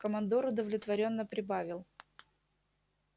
командор удовлетворённо прибавил